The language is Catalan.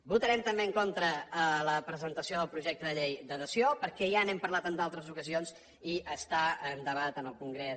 votarem també en contra de la presentació del projecte de llei de dació perquè ja n’hem parlat en altres ocasions i està en debat en el congrés